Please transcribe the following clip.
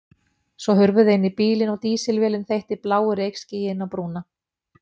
Svo hurfu þau inn í bílinn og dísilvélin þeytti bláu reykskýi inn á brúna.